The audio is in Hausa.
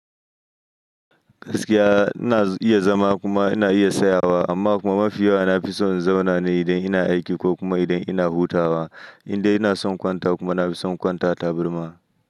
Gaskiya ina iya zama kuma ina iya tsayawa amma kuma mafi yawa nafi son in zauna ne idan ina aiki ko kuma idan ina hutawa. Indai ina son kwantawa kuma nafi son kwanta a taburma.